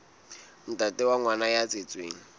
ntate wa ngwana ya tswetsweng